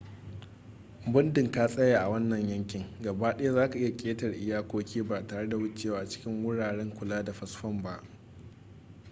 muddin ka tsaya a wannan yankin gabaɗaya zaka iya ƙetare iyakoki ba tare da wucewa cikin wuraren kula da fasfon ba